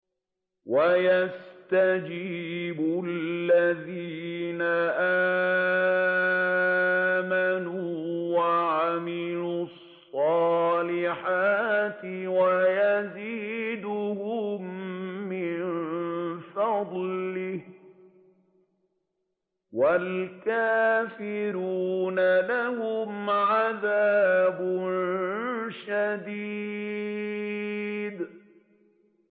وَيَسْتَجِيبُ الَّذِينَ آمَنُوا وَعَمِلُوا الصَّالِحَاتِ وَيَزِيدُهُم مِّن فَضْلِهِ ۚ وَالْكَافِرُونَ لَهُمْ عَذَابٌ شَدِيدٌ